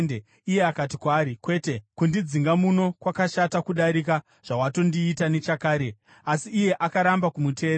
Iye akati kwaari, “Kwete! Kundidzinga muno kwakashata kudarika zvawatondiita nechakare.” Asi iye akaramba kumuteerera.